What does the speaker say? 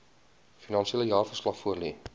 finansiële jaarverslag voorlê